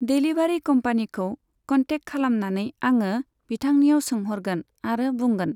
Delivery कम्पानिखौ contact खालामनानै आङो बिथांनियाव सोंहरगोन आरो बुंगोन।